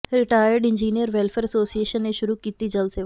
retired engineer welfare association ਨੇ ਸ਼ੁਰੂ ਕੀਤੀ ਜਲ ਸੇਵਾ